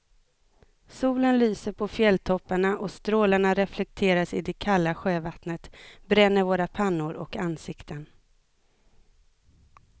Solen lyser på fjälltopparna och strålarna reflekteras i det kalla sjövattnet, bränner våra pannor och ansikten.